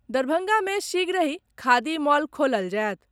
दरभंगा मे शीघ्रहि खादी मॉल खोलल जायत।